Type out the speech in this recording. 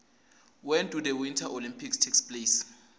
when do the winter olympics take place